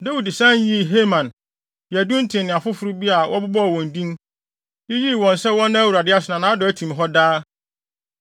Dawid san yii Heman, Yedutun ne afoforo bi a wɔbobɔɔ wɔn din, yiyii wɔn no sɛ wɔnna Awurade ase “Na nʼadɔe no tim hɔ daa.”